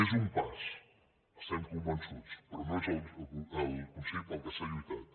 és un pas n’estem convençuts però no és el consell per què s’ha lluitat